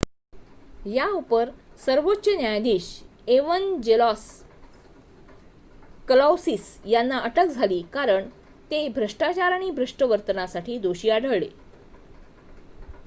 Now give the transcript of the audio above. याउपर सर्वोच्च न्यायाधीश Evangelos Kalousis यांना अटक झाली कारण ते भ्रष्टाचार आणि भ्रष्ट वर्तनासाठी दोषी आढळले